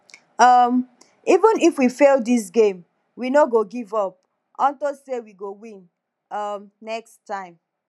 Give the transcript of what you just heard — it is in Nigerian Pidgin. um even if we fail dis game we no go give up unto say we go win um next time